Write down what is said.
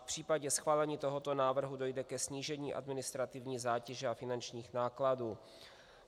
V případě schválení tohoto návrhu dojde ke snížení administrativní zátěže a finančních nákladů.